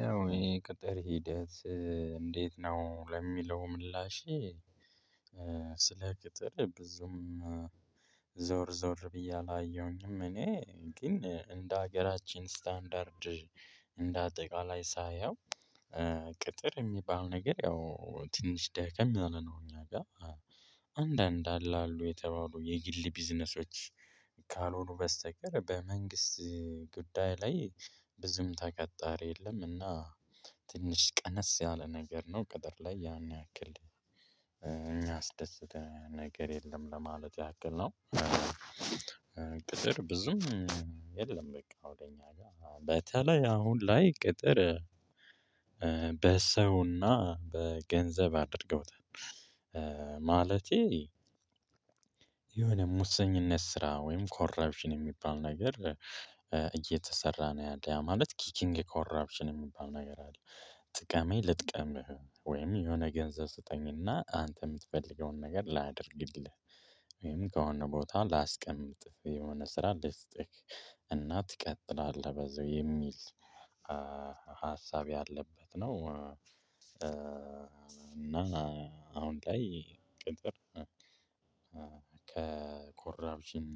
ያው ይሄ ቅጥር ሂደት እንዴት ነው? ለሚለው ምላሼ ስለ ቅጥር ብዙም ዞር ዞር ብዬ አላየሁኝም እኔ ግን እንደ ሀገራችን ስታንዳርድ እንደ አጠቃላይ ሳየው፣ ቅጥር የሚባለው ነገር ያው ትንሽ ደከም ያለ ነው እኛ ጋር አንዳንድ አለ አሉ የተባሉ የግል ቢዝነሶች ካልሆኑ በስተቀር በመንግስት ጉዳይ ላይ ብዙም ተቀጣሪ የለም እና ትንሽ ቀነስ ያለ ነገር ነው ቅጥር ላይ ያን ያክል የሚያስደስተን ነገር የለም ለማለት ያክል ነው ቅጥር ብዙም የለም በቃ ወደ እኛ ጋር። በተለይ አሁን ላይ ቅጥር በሰውና በገንዘብ አድርገውታል። ማለቴ የሆነ ሙሰኝነት ስራ ወይም ኮራፕሽን የሚባል ነገር እየተሰራ ነው ያለው ማለት ኪኪንግ ኮራፕሽን የሚባል ነገር አለ። ጥቀመኝ ልጥቀምህ ወይም የሆነ ገንዘብ ስጠኝና አንተ የምትፈልገውን ነገር ላድርግልህ ወይም ከሆነ ቦታ ላስቀምጥህ የሆነ ስራ ልስጥህ እና ትቀጥላለህ በዚሁ የሚል ሀሳብ ያለበት ነው። እና አሁን ላይ ቅጥር ከኮራብሽን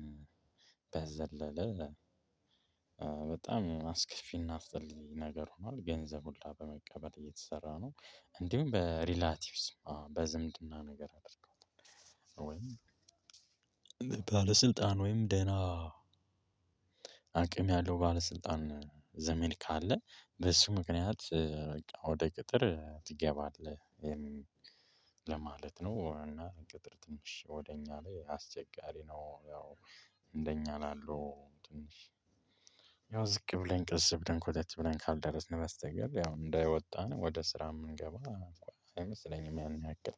በዘለለ በጣም አስከፊና አስጠልይ ነገር ሆኗል። ገንዘብ ሁላ በመቀበል እየተሰራ ነው። እንዲሁም በሪላቲቭስም በዝምድና ነገር አድርገው ወይም በባለስልጣን ወይም ደህና አቅም ያለው ባለስልጣን ዘመድ ካለ በሱ ምክንያት በቃ ወደ ቅጥር ትገባለህ ለማለት ነው። እና ቅጥር ትንሽ ወደ እኛ ላይ አስቸጋሪ ነው ያው እንደኛ ላሉ ትንሽ ያው ዝቅ ብለን ቀስ ብለን ኮተት ብለን ካልደረስን በስተቀር ያው እንደወጣን ወደ ስራ የምንገባ አይመስለኝም ያን ያክል